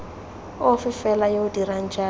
ofe fela yo dirang jalo